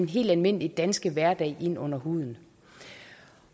helt almindelige danske hverdag ind under huden